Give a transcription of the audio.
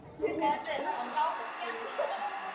Elska þig litla systir mín.